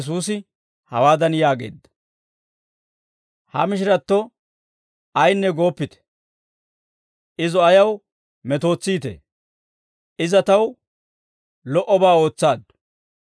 Shin Yesuusi hawaadan yaageedda; «Ha mishiratto ayinne gooppite; izo ayaw metootsiitee? Iza taw lo"obaa ootsaaddu.